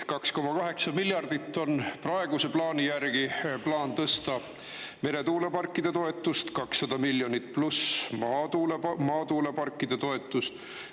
2,8 miljardit on praeguse plaani järgi plaan tõsta meretuuleparkide toetust, 200 miljonit pluss maatuuleparkide toetust.